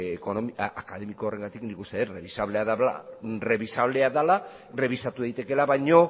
akademiko horregatik nik uste dut errebisablea dela errebisatu daitekeela baina